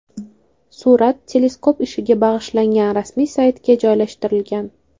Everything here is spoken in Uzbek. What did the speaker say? Surat teleskop ishiga bag‘ishlangan rasmiy saytga joylashtirilgan .